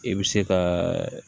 I bɛ se ka